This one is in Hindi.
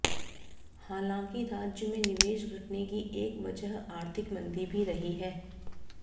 हालांकि राज्य में निवेश घटने की एक वजह आर्थिक मंदी भी रही है